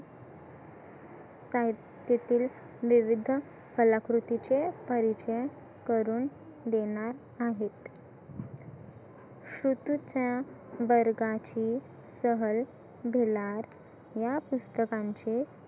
कात्यातील विविध कलाकृतीचे परिचय करून देणार आहेत शुटु छाया, बरगाची सहल, दुलार, या पुस्तकांचे